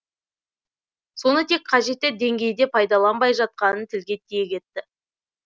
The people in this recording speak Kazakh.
соны тек қажетті деңгейде пайдаланбай жатқанын тілге тиек етті